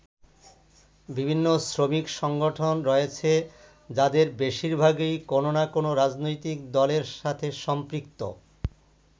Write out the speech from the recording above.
বিভিন্ন শ্রমিক সংগঠন রয়েছে যাদের বেশিরভাগই কোন না কোন রাজনৈতিক দলের সাথে সম্পৃক্ত।